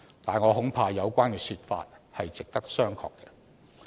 但是，我恐怕有關說法是值得商榷的。